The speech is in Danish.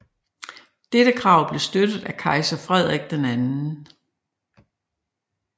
Dette krav blev støttet af kejser Frederik II